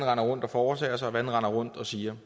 render rundt og foretager sig hvad de render rundt og siger